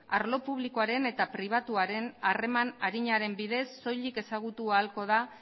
arlo publikoaren eta pribatuaren harreman arinaren bidez soilik ezagutu ahalko da